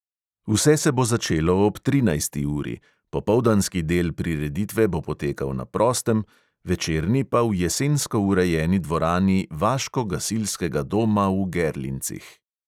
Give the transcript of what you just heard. Vse se bo začelo ob trinajsti uri; popoldanski del prireditve bo potekal na prostem, večerni pa v jesensko urejeni dvorani vaško-gasilskega doma v gerlincih.